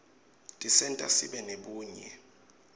tisenta sibe nebunye